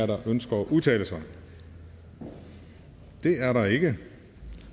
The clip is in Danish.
der ønsker at udtale sig det er der ikke